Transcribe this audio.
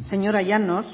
señora llanos